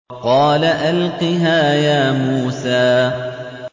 قَالَ أَلْقِهَا يَا مُوسَىٰ